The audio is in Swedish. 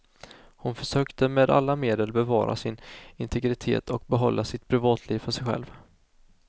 Hon försökte med alla medel bevara sin integritet och behålla sitt privatliv för sig själv.